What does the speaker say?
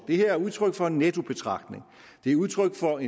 det her er udtryk for en nettobetragtning det er udtryk for